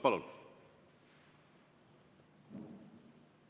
Palun!